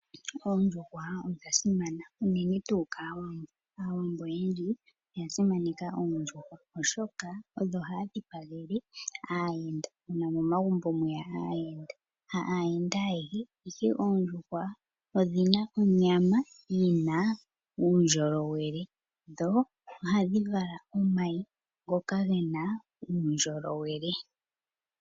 Oondjuhwa odha simana unene tuu kaawambo. Aawambo oyendji oya simaneka oondjuhwa oshoka odho haya dhipagele aayenda uuna aayenda yeya momagumbo. Oondjuhwa odhina onyama yina uundjolowele dho odhina omayi ngoka gena uundjolowele.